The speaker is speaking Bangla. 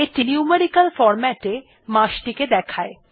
এইটি নিউমেরিক্যাল ফরম্যাটে মাস টি দেয়